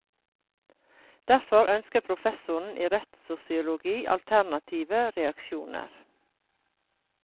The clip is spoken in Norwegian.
Derfor ønsker professoren i rettssosiologi alternative reaksjoner.